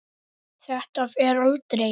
Þetta fer aldrei.